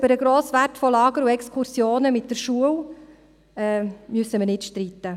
Über den grossen Wert von Lagern und Exkursionen mit der Schule müssen wir uns nicht streiten.